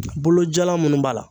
Bolo jalan munnu b'a la